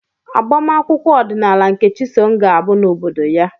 Agbamakwụkwọ ọdịnala nke Chisom ga-abụ n'obodo ya.